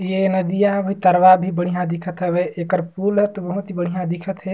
ये नदिया भीतरवा भी बढियाँ दिखा थवे एकर पुल ह त बहुत ही बढियाँ दिखा थे।